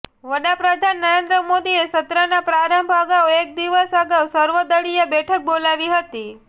વડાપ્રધાન નરેન્દ્ર મોદીએ સત્રના પ્રારંભ અગાઉ એક દિવસ અગાઉ સર્વદળીય બેઠક બોલાવી હતી